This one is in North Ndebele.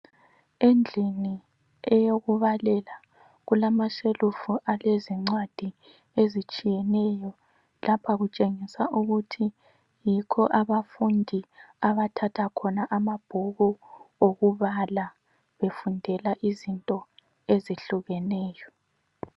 Endlini eyokubalela kulamashelufu alezincwadi ezitshiyeneyo. Lapha kutshengisa ukuthi yikho abafundi abathatha khona amabhuku okubala befundela izinto ezitshiyeneyo.